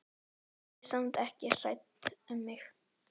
Verið samt ekki hrædd um mig.